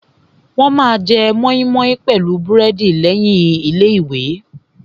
Wọ́n ma jẹ mọ́ímọ́í pẹ̀lú búrẹ́dì lẹ́yìn ẹ̀kọ́.